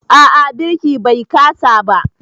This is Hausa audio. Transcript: A'a birki Bai kasa ba.